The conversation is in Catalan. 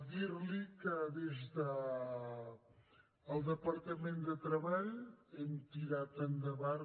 dir li que des del departament de treball hem tirat endavant